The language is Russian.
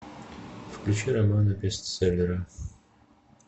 включи романа бестселлера